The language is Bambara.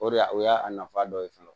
O de y'a o y'a nafa dɔ ye fɔlɔ